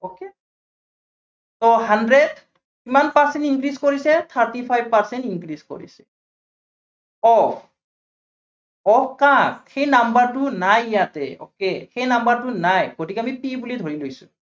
hundred কিমান percent increase কৰিছে, thirty five percent increase কৰিছে। অ সেই number টো নাই ইয়াতে okay সেই number টো নাই। গতিকে আমি c বুলি ধৰি লৈছো।